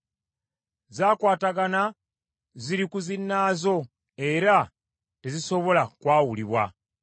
Zakwatagana, ziri ku zinnaazo era tezisobola kwawulibwa.